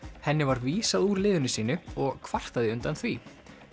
henni var vísað úr liðinu sínu og kvartaði undan því